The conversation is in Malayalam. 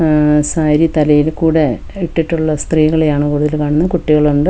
ഉം സാരി തലയിൽ കൂടെ ഇട്ടിട്ടുള്ള സ്ത്രീകളെയാണ് കൂടുതൽ കാണുന്നത് കുട്ടികളുണ്ട്.